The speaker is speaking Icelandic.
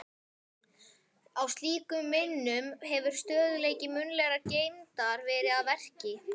Í slíkum minnum hefur stöðugleiki munnlegrar geymdar verið að verki.